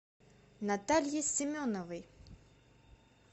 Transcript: наталье семеновой